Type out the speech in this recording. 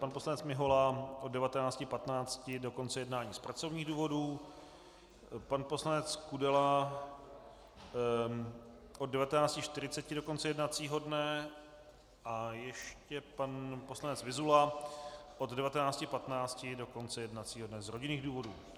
Pan poslanec Mihola od 19.15 do konce jednání z pracovních důvodů, pan poslanec Kudela od 19.40 do konce jednacího dne a ještě pan poslanec Vyzula od 19.15 do konce jednacího dne z rodinných důvodů.